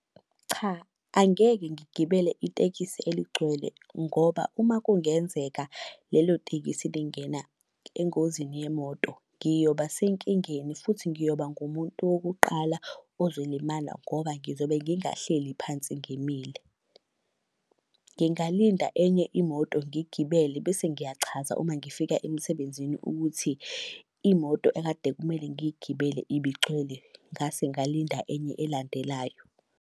Cha angeke ngigibele itekisi eligcwele ngoba uma kungenzeka lelo tekisi lingena engozini yemoto, ngiyoba senkingeni futhi ngiyoba ngumuntu wokuqala ozolimala ngoba ngizobe ngingahleli phansi ngimile. Ngingalinda enye imoto ngigibele bese ngiyachaza uma ngifika emsebenzini ukuthi imoto ekade kumele ngiyigibele ibigcwele, ngase ngalinda enye elandelayo.